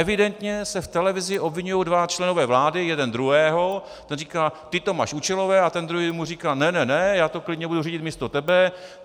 Evidentně se v televizi obviňují dva členové vlády jeden druhého, ten říká ty to máš účelové, a ten druhý mu říká ne ne ne, já to klidně budu řídit místo tebe.